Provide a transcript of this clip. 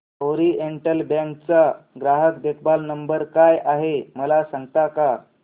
oriental Bank चा ग्राहक देखभाल नंबर काय आहे मला सांगता का